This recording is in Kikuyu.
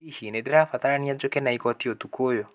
Hihi ni ndirabatarania njoke na igoti ũtukũ ũyũ?